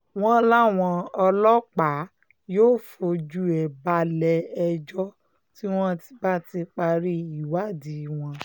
wọ́n láwọn ọlọ́pàá yóò fojú ẹ̀ balẹ̀-ẹjọ́ tí wọ́n bá ti parí ìwádìí wọn